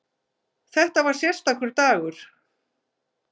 Þetta var sérstakur dagur.